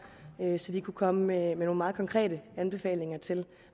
så de kunne komme med nogle meget konkrete anbefalinger til